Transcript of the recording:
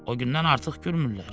O gündən artıq gülmürlər.